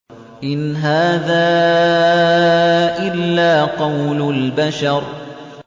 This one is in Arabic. إِنْ هَٰذَا إِلَّا قَوْلُ الْبَشَرِ